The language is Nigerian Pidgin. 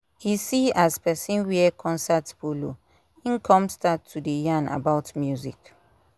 e see as person wear concert polo im kon start to dey yarn about music